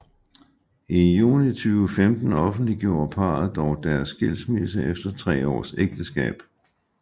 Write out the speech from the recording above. I juni 2015 offentliggjorde parret dog deres skilsmisse efter tre års ægteskab